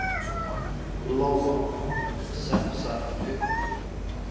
Lóa: Semsagt um upphæðina sem á þyrfti að halda?